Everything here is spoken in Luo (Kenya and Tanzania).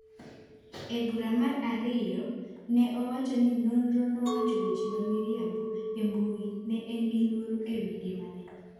E bura mar ariyo, ne owach ni Nondo nowacho weche ma miriambo e mbui ni en gi luoro e wi ngimane.